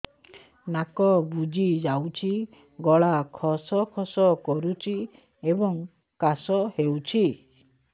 ନାକ ବୁଜି ଯାଉଛି ଗଳା ଖସ ଖସ କରୁଛି ଏବଂ କାଶ ହେଉଛି